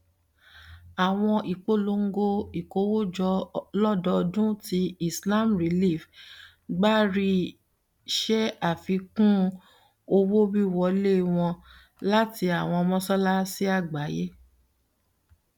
awọn ipolongo ikowojo lododun ti islam relief agbari ṣe afikun owowiwọle wọn lati awọn mọṣalaṣi agbaye